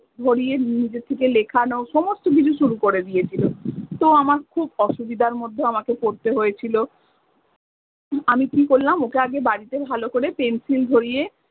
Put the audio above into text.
ধরিয়ে নিজে থেকে লেখানো সমস্ত কিছু শুরু করে দিয়েছিলো। তো আমার খুব অসুবিধার মধ্যে আমাকে পড়তে হয়েছিল। আমি কী করলাম ওকে আগে বাড়িতে ভালো করে pencil ধরিয়ে